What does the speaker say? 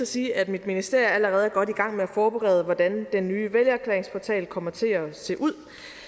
sige at mit ministerie allerede er godt i gang med at forberede hvordan den nye vælgererklæringsportal kommer til at se ud